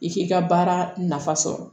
I k'i ka baara nafa sɔrɔ